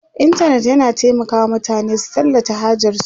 intanet yana taimaka wa mutane su tallata hajarsu